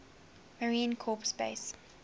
marine corps base